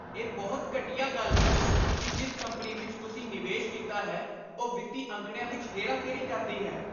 ਇਹ ਬਹੁਤ ਘਟੀਆ ਗੱਲ ਹੈ ਕਿ ਜਿਸ ਕੰਪਨੀ ਵਿੱਚ ਤੁਸੀਂ ਨਿਵੇਸ਼ ਕੀਤਾ ਹੈ, ਉਹ ਵਿੱਤੀ ਅੰਕੜਿਆਂ ਵਿੱਚ ਹੇਰਾਫੇਰੀ ਕਰਦੀ ਹੈ।